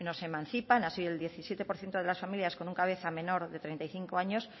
se emancipan así el diecisiete por ciento de las familias con un cabeza menor de treinta y cinco años